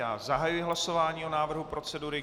Já zahajuji hlasování o návrhu procedury.